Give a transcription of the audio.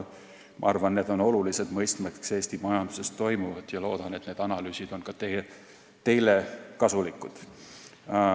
Ma arvan, et need on olulised mõistmaks Eesti majanduses toimuvat, ja loodan, et need analüüsid on ka teile kasulikud.